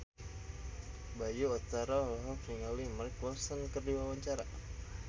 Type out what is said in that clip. Bayu Octara olohok ningali Mark Ronson keur diwawancara